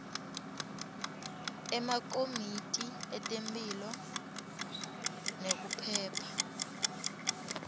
emakomiti etemphilo nekuphepha